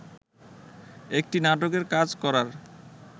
একটি নাটকের কাজ করার